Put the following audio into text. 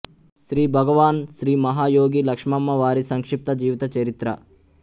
శ్రీఃభగవాన్ శ్రీ మహా యోగి లక్ష్మమ్మవారి సంక్షిప్త జీవిత చరిత్ర